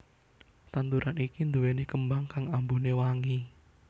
Tanduran iki duwéni kembang kang ambune wangi